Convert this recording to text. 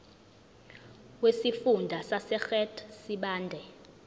wesifunda sasegert sibande